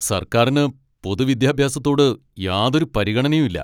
സർക്കാരിന് പൊതുവിദ്യാഭ്യാസത്തോട് യാതൊരു പരിഗണനയും ഇല്ല.